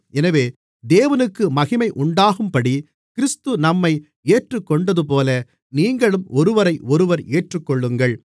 எனவே தேவனுக்கு மகிமையுண்டாகும்படி கிறிஸ்து நம்மை ஏற்றுக்கொண்டதுபோல நீங்களும் ஒருவரையொருவர் ஏற்றுக்கொள்ளுங்கள்